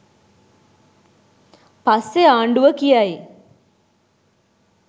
පස්සෙ ආණ්ඩුව කියයි